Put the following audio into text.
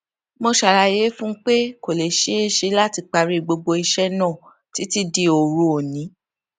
mo ṣàlàyé fún un pé kò lè ṣeé ṣe láti parí gbogbo iṣẹ náà títí di òru òní